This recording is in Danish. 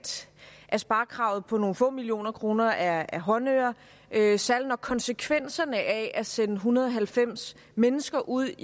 at sparekravet på nogle få millioner kroner er håndører særlig når konsekvenserne af at sende en hundrede og halvfems mennesker ud